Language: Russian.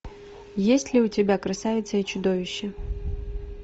есть ли у тебя красавица и чудовище